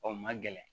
Ɔ ma gɛlɛn